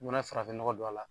I mana farafin nɔgɔ don a la